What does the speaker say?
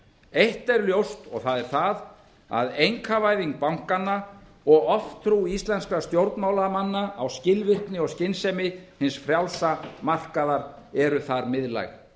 eitt er ljóst og það er það að einkavæðing bankanna og oftrú íslenskra stjórnmálamanna á skilvirkni og skynsemi hins frjálsa markaðar eru þar miðlæg